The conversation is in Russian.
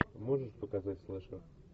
можешь показать слэшер